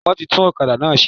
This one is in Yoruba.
Wọ́n ti tún òkadà náà se